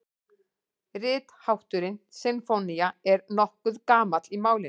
Rithátturinn sinfónía er nokkuð gamall í málinu.